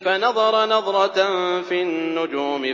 فَنَظَرَ نَظْرَةً فِي النُّجُومِ